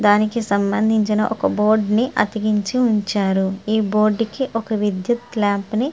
దానికి సంబంధించిన ఒక బోర్డు ని అతికించి ఉంచారు. ఈ బోర్డుకి ఒక విద్యుత్ లాంప్ ని--